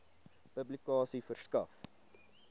publikasie verskaf